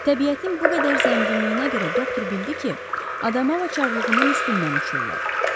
Təbiətin bu qədər zənginliyinə görə doktor bildi ki, Adamava çarlığının üstündən uçurlar.